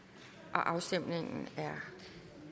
afstemningen er